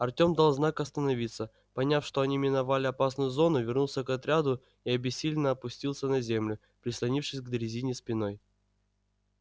артём дал знак остановиться поняв что они миновали опасную зону вернулся к отряду и обессиленно опустился на землю прислонившись к дрезине спиной